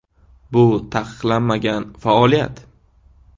Bu taqiqlanmagan faoliyat.